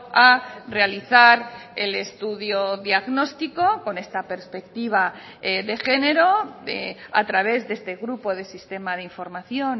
a realizar el estudio diagnóstico con esta perspectiva de género a través de este grupo de sistema de información